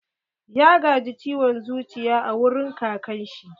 Ya gaji ciwon zuciya a wurin kakan shi.